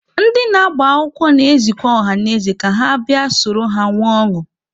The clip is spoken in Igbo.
Ndị na-agbakwụkwọ na-ezikwa ọhanaeze ka ha bịa soro ha nwee ọṅụ.